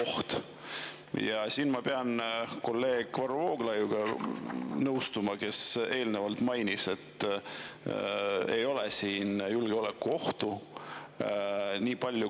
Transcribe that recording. Ma pean siin nõustuma kolleeg Varro Vooglaiuga, kes eelnevalt mainis, et siin ei ole julgeolekuohtu.